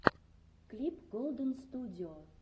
клип голдэнстудио